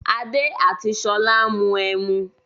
Adé àti Ṣolá ń mu ẹmu.